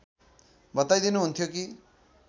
बताइदिनुहुन्थ्यो कि